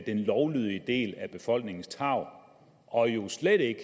lovlydige del af befolkningens tarv og jo slet ikke